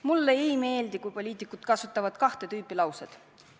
Mulle ei meeldi, kui poliitikud kasutavad kahte tüüpi lauseid.